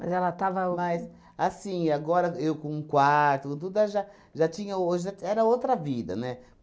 Mas ela estava o... Mas, assim, agora eu com um quarto, com tudo, já já tinha hoje era outra vida, né?